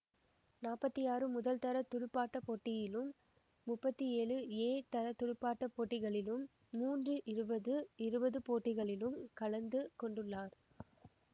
நாற்பத்தி ஆறு முதல்தர துடுப்பாட்ட போட்டியிலும் முப்பத்தி ஏழு ஏதர துடுப்பாட்ட போட்டிகளிலும் மூன்று இருபதுஇருபது போட்டிகளிலும் கலந்து கொண்டுள்ளார்